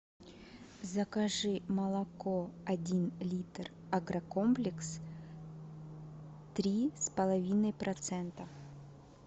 закажи молоко один литр агрокомплекс три с половиной процента